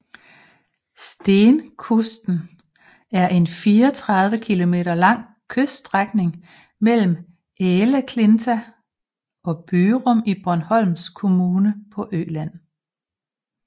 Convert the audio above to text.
Stenkusten er en 34 kilometer lang kyststrækning mellem Äleklinta og Byrum i Borgholms kommune på Øland